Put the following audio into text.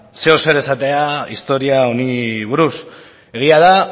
zeozer esatea historia honi buruz egia da